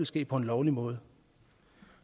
ske på en lovlig måde